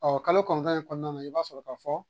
Ɔ kalo kɔnɔntɔn in kɔnɔna na i b'a sɔrɔ k'a fɔ